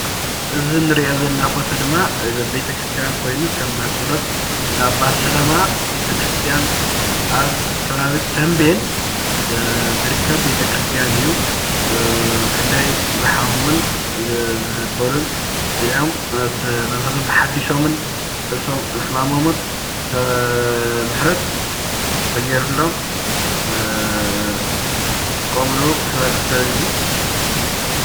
እዚ ንሪኦ ዘለና ፎቶ ድማ ቤተ ክርስትያን ኮይኑ ከም ማጨሎት እንዳ ኣባ ሰላማ ቤተ ክርስትያን ኣብ ከባቢ ተምቤን ዝርከብ ቤተ ክርስትያን እዩ፡፡ ክንደይ ዝሓመሙን ዘበሉን ጢዖም፣ መንፈሶም ርእሶም ተሓዲሶምን ሕማሞምን ምሕረት ተገይርሎም ዝጥቀምሉ ሕብረተሰብ እዩ፡፡